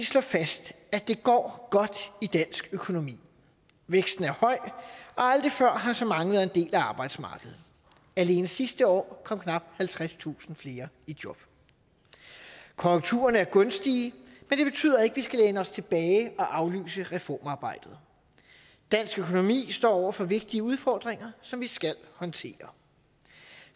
slå fast at det går godt i dansk økonomi væksten er høj og aldrig før har så mange været en del af arbejdsmarkedet alene sidste år kom knap halvtredstusind flere i job konjunkturerne er gunstige men det betyder ikke at vi skal læne os tilbage og aflyse reformarbejdet dansk økonomi står over for vigtige udfordringer som vi skal håndtere